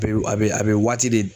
a bɛ a bɛ waati de